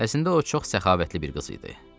əslində o çox səxavətli bir qız idi.